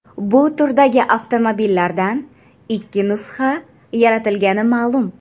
Bu turdagi avtomobillardan ikki nusxa yaratilgani ma’lum.